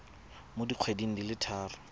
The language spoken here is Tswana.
mo dikgweding di le tharo